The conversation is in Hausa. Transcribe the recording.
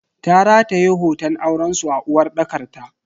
Ta rataye hoton aurensu a uwarɗakar ta.